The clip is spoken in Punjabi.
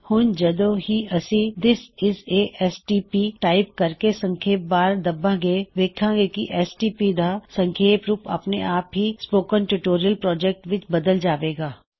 ਹੁਣ ਜਦੋ ਵੀ ਅਸੀ this is a STP type ਕਰਕੇ ਸਪੇਸ ਬਾਰ ਦੱਬਾਂਗੇ ਵੇੱਖਾਂ ਗੇ ਕਿ ਐਸ ਟੀ ਪੀ ਦਾ ਸੰਖੇਪ ਹੂਪ ਅਪਣੇ ਆਪ ਹੀ ਸਪੋਕਨ ਟਿਊਟੋਰਿਯਲ ਪ੍ਰੌਜੈਕਟ ਵਿੱਚ ਬਦਲ ਜਾਵੇਗਾ